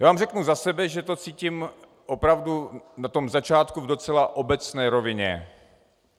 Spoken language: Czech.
Já vám řeknu za sebe, že to cítím opravdu na tom začátku v docela obecné rovině.